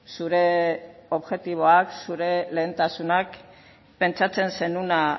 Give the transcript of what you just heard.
zure objektiboak zure lehentasunak pentsatzen zenuena